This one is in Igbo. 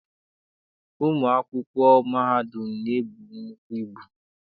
Ụmụ akwụkwọ mahadum na-ebu nnukwu ibu.